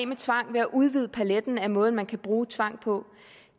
med tvang ved at udvide paletten af måder man kan bruge tvang på